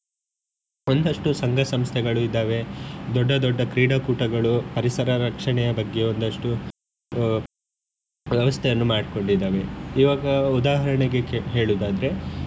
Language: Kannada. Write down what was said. ಒಂದಷ್ಟು ಸಂಘ ಸಂಸ್ಥೆಗಳು ಇದ್ದಾವೆ ದೊಡ್ಡ ದೊಡ್ಡ ಕ್ರೀಡಾಕೂಟಗಳು ಪರಿಸರ ರಕ್ಷಣೆಯ ಬಗ್ಗೆ ಒಂದಷ್ಟು ಆ ವ್ಯವಸ್ಥೆಯನ್ನು ಮಾಡ್ಕೊಂಡಿದ್ದಾವೆ ಈವಾಗ ಉದಾಹರಣೆಗೆ ಹೇಳುದಾದ್ರೆ.